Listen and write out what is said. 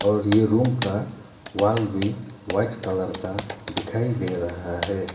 और ये रूम का वॉल भी वाइट कलर का दिखाई दे रहा है।